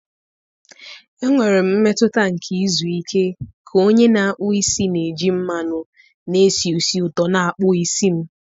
Enwere m mmetụta nke izu ike ka onye na-akpụ isi na-eji mmanụ na-esi ísì ụtọ na-akpụ isi m.